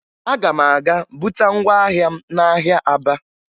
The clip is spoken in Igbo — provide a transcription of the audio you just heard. Aga m aga buta ngwa ahịa m n'ahịa Aba